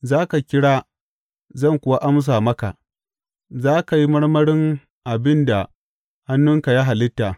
Za ka kira zan kuwa amsa maka; za ka yi marmarin abin da hannunka ya halitta.